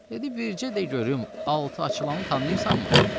Dedi: Bicə də görüm altı açılanı tanıyırsanmı?